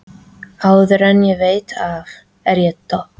Áður en ég veit af er ég dott